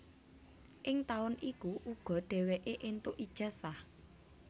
Ing taun iku uga dheweke entuk ijazah